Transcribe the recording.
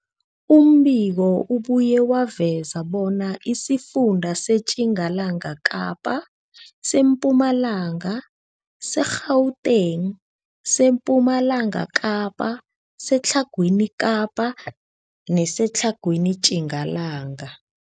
Umbiko ubuye waveza bona isifunda seTjingalanga Kapa, seMpumalanga, seGauteng, sePumalanga Kapa, seTlhagwini Kapa neseTlhagwini Tjingalanga.